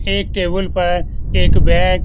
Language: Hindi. एक टेबुल पर एक बैग --